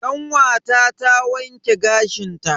Kanwata na wanke gashin ta.